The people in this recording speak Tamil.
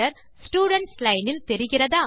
ஸ்டூடென்ட்ஸ் லைன் இல் தெரிகிறதா